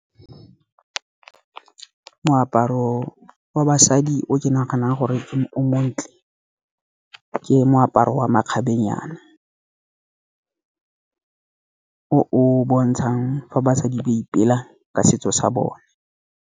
Moaparo wa basadi o ke naganang gore o montle, ke moaparo wa makgabenyana, o o bontshang fa basadi ba ipela ka setso sa bone.